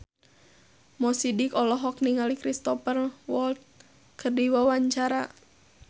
Mo Sidik olohok ningali Cristhoper Waltz keur diwawancara